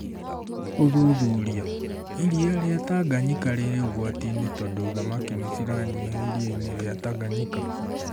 ũthuthuria : iria rĩa Tanganyika rĩ ũgwati-inĩ tondũ thamakĩ nĩcĩranyĩha ĩrĩa-inĩ rĩa Tanganyika